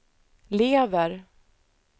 lever